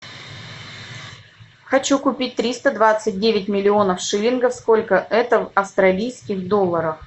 хочу купить триста двадцать девять миллионов шиллингов сколько это в австралийских долларах